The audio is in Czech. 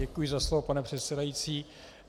Děkuji za slovo, pane předsedající.